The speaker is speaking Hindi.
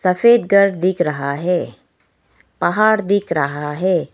सफ़ेद घर दिख रहा है पहाड़ दिख रहा है।